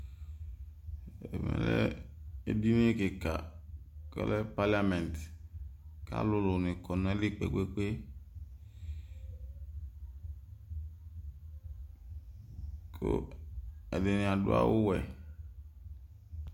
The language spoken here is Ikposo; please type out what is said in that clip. Ɛmɛ lɛ édiyni kika, ɔlɛ palament Alulu ni kɔ nayili kpékpé, ku ɛdini adu awu wɛ